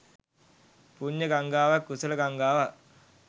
පුණ්‍ය ගංගාවක් කුසල ගංගාවක්